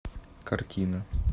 картина